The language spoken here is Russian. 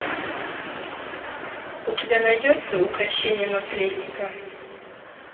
у тебя найдется укрощение наследника